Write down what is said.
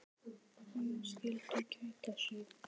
Menn skyldu gæta sín.